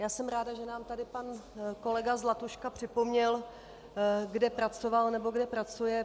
Já jsem ráda, že nám tady pan kolega Zlatuška připomněl, kde pracoval nebo kde pracuje.